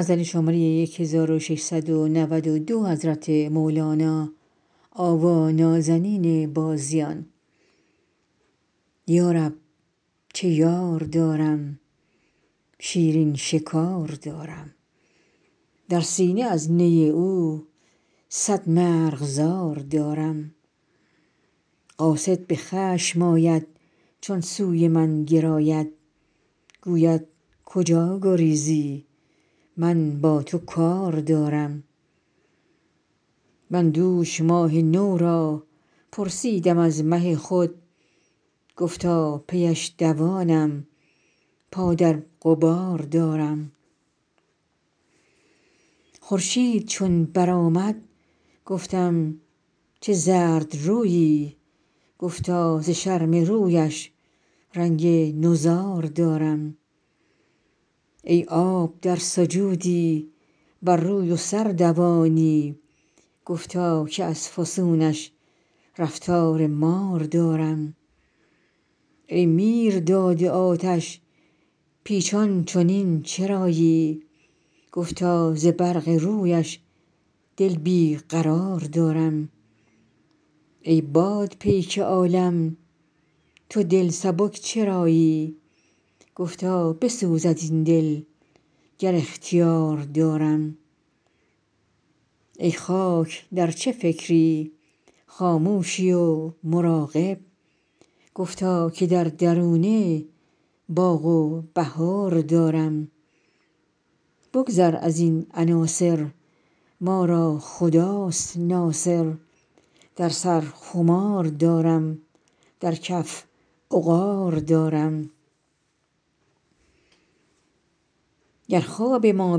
یا رب چه یار دارم شیرین شکار دارم در سینه از نی او صد مرغزار دارم قاصد به خشم آید چون سوی من گراید گوید کجا گریزی من با تو کار دارم من دوش ماه نو را پرسیدم از مه خود گفتا پی اش دوانم پا در غبار دارم خورشید چون برآمد گفتم چه زردرویی گفتا ز شرم رویش رنگ نضار دارم ای آب در سجودی بر روی و سر دوانی گفتا که از فسونش رفتار مار دارم ای میرداد آتش پیچان چنین چرایی گفتا ز برق رویش دل بی قرار دارم ای باد پیک عالم تو دل سبک چرایی گفتا بسوزد این دل گر اختیار دارم ای خاک در چه فکری خاموشی و مراقب گفتا که در درونه باغ و بهار دارم بگذر از این عناصر ما را خداست ناصر در سر خمار دارم در کف عقار دارم گر خواب ما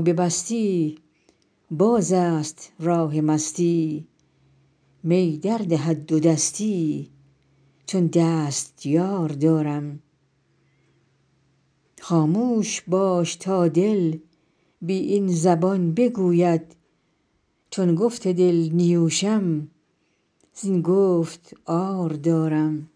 ببستی بازست راه مستی می دردهد دودستی چون دستیار دارم خاموش باش تا دل بی این زبان بگوید چون گفت دل نیوشم زین گفت عار دارم